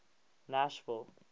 nashville